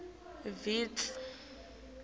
vitsi